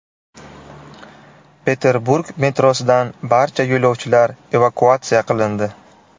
Peterburg metrosidan barcha yo‘lovchilar evakuatsiya qilindi.